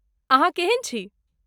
अहाँ केहन छी?